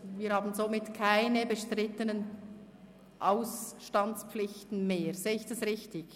Wir haben somit keine bestrittenen Austandspflichten mehr, sehe ich das richtig?